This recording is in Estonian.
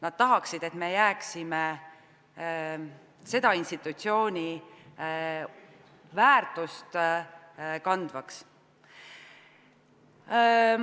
Nad tahaksid, et me jääksime selle institutsiooni väärtust kandvaks.